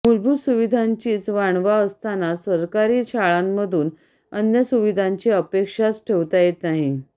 मूलभूत सुविधांचीच वाणवा असताना सरकारी शाळांमधून अन्य सुविधांची अपेक्षाच ठेवता येत नाही